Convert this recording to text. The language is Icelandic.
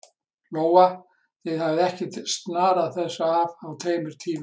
Lóa: Þið hafið ekkert snarað þessu af á tveim tímum?